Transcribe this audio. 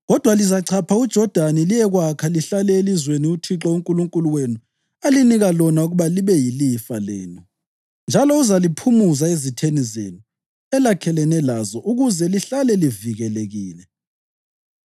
Kodwa lizachapha uJodani liyekwakha lihlale elizweni uThixo uNkulunkulu wenu alinika lona ukuba libe yilifa lenu, njalo uzaliphumuza ezitheni zenu elakhelene lazo ukuze lihlale livikelekile.